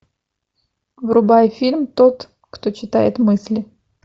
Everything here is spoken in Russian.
врубай фильм тот кто читает мысли